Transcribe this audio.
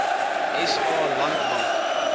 sa land bank